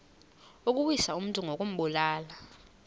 ukuwisa umntu ngokumbulala